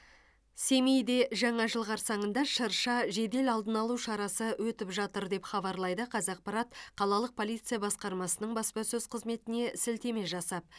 семейде жаңа жыл қарсаңында шырша жедел алдын алу шарасы өтіп жатыр деп хабарлайды қазақпарат қалалық полиция басқармасының баспасөз қызметіне сілтеме жасап